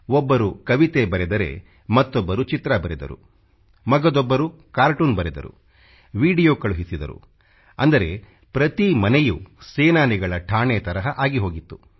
ಒಬ್ಬರು ಕವಿತೆ ಬರೆದರೆ ಮತ್ತೊಬ್ಬರು ಚಿತ್ರ ಬರೆದರು ಮಗದೊಬ್ಬರು ಕಾರ್ಟೂನ್ ಬರೆದರು ವಿಡಿಯೋ ಕಳುಹಿಸಿದರು ಅಂದರೆ ಪ್ರತಿ ಮನೆಯೂ ಸೇನಾನಿಗಳ ಠಾಣೆ ತರಹ ಆಗಿ ಹೋಗಿತ್ತು